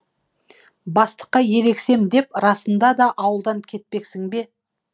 бастыққа ерегесем деп расында да ауылдан кетпексің бе